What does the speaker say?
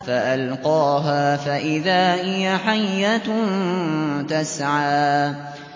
فَأَلْقَاهَا فَإِذَا هِيَ حَيَّةٌ تَسْعَىٰ